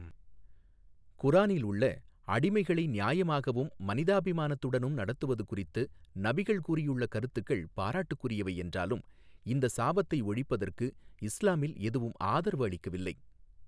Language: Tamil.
குரானில் உள்ள அடிமைகளை நியாயமாகவும், மனிதாபிமானத்துடனும் நடத்துவது குறித்து நபிகள் கூறியுள்ள கருத்துக்கள் பாராட்டுக்குரியவை என்றாலும், இந்த சாபத்தை ஒழிப்பதற்கு இஸ்லாமில் எதுவும் ஆதரவளிக்கவில்லை.